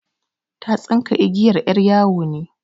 Ta tsinka igiyar 'yar yawo ne.